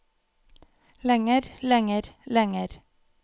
lenger lenger lenger